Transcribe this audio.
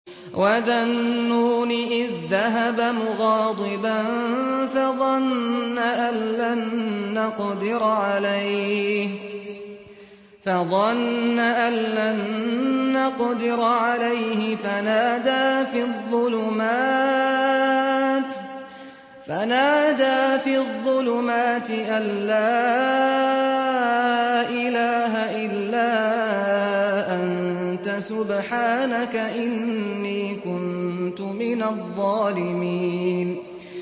وَذَا النُّونِ إِذ ذَّهَبَ مُغَاضِبًا فَظَنَّ أَن لَّن نَّقْدِرَ عَلَيْهِ فَنَادَىٰ فِي الظُّلُمَاتِ أَن لَّا إِلَٰهَ إِلَّا أَنتَ سُبْحَانَكَ إِنِّي كُنتُ مِنَ الظَّالِمِينَ